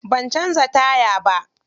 Ban canza taya ba.